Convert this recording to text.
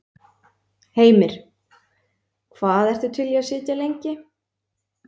Heimir: Hvað ertu til í að sitja lengi?